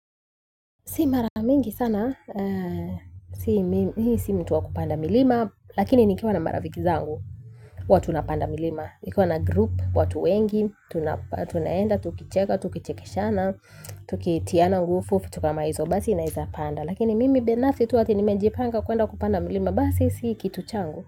Si mara mingi sana, mi si mtu wa kupanda milima, lakini nikiwa na marafiki zangu huwa tunapanda milima. Nikiwa na group, watu wengi, tunaenda, tukicheka, tukichekeshana, tukitiana, nguvu, vitu kama hizo basi naezapanda. Lakini mimi binafsi tu ati nimejipanga kuenda kupanda milima basi, si kitu changu.